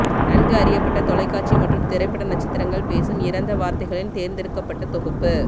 நன்கு அறியப்பட்ட தொலைக்காட்சி மற்றும் திரைப்பட நட்சத்திரங்கள் பேசும் இறந்த வார்த்தைகளின் தேர்ந்தெடுக்கப்பட்ட தொகுப்பு